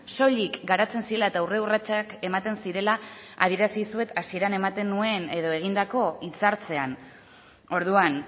soilik garatzen zirela eta aurre urratsak ematen zirela adierazi dizuet hasieran ematen nuen edo egindako hitzartzean orduan